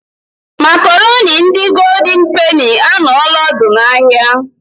Makoroni ndi goldin peni anoola odu n'ahia